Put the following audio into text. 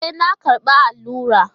E,, na karɓa allura.